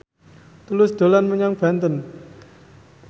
Tulus dolan menyang Banten